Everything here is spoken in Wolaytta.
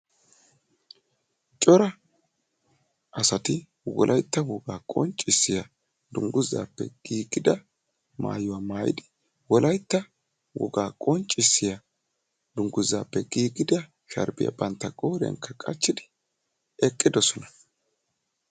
corra assati wolaytta wogga qonccisiya dunguzza maayuwa maayidi eqidagetti beettossona.